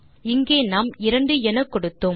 இங்கே நாம் இரண்டு என கொடுத்தோம்